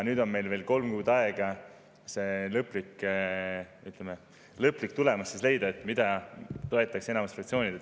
Nüüd on meil veel kolm kuud aega leida see lõplik tulemus, mida toetaks enamus fraktsioone.